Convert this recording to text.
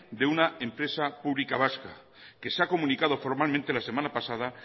de una empresa pública vasca que se ha comunicado formalmente la semana pasada